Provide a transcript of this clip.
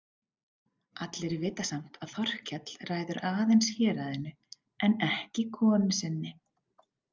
Allir vita samt að Þorkell ræður aðeins héraðinu en ekki konu sinni.